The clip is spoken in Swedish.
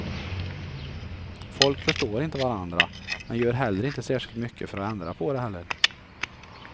Folk förstår inte varandra, men gör heller inte särskilt mycket för att ändra på det heller.